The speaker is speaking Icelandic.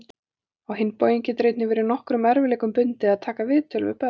Á hinn bóginn getur einnig verið nokkrum erfiðleikum bundið að taka viðtöl við börn.